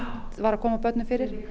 var að koma börnum fyrir